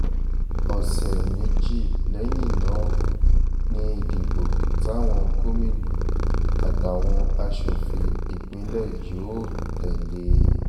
ọ̀sẹ̀ méjì lẹ́yìn náà ni ìdìbò táwọn gómìnà àtàwọn aṣòfin ìpínlẹ̀ yóò tẹ̀ lé e